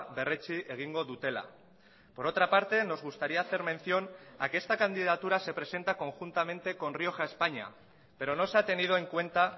berretsi egingo dutela por otra parte nos gustaría hacer mención a que esta candidatura se presenta conjuntamente con rioja españa pero no se ha tenido en cuenta